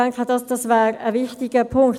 des StG. Das wäre ein wichtiger Punkt.